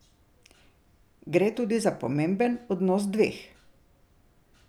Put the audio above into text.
Gre tudi za pomemben odnos dveh.